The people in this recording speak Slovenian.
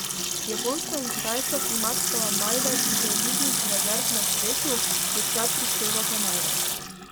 Japonska in Kitajska, ki imata največ deviznih rezerv na svetu, v sklad prispevata največ.